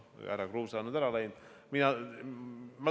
Härra Kruuse on ära läinud.